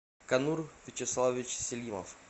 канур вячеславович селимов